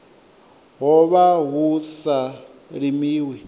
ho vha hu sa limiwi